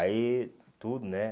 Aí tudo, né?